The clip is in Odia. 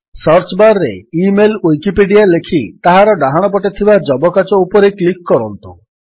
ସର୍ଚ୍ଚ ବାର୍ ରେ ଇମେଲ୍ ୱିକିପିଡିଆ ଲେଖି ତାହାର ଡାହାଣପଟେ ଥିବା ଯବକାଚ ଉପରେ କ୍ଲିକ୍ କରନ୍ତୁ